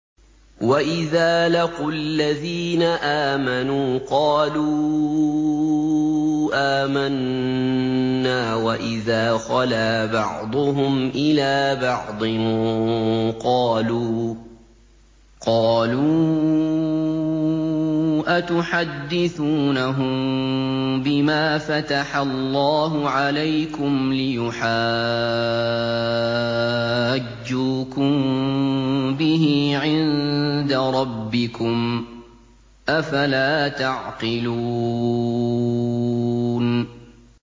وَإِذَا لَقُوا الَّذِينَ آمَنُوا قَالُوا آمَنَّا وَإِذَا خَلَا بَعْضُهُمْ إِلَىٰ بَعْضٍ قَالُوا أَتُحَدِّثُونَهُم بِمَا فَتَحَ اللَّهُ عَلَيْكُمْ لِيُحَاجُّوكُم بِهِ عِندَ رَبِّكُمْ ۚ أَفَلَا تَعْقِلُونَ